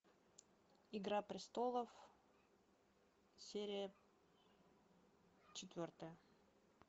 игра престолов серия четвертая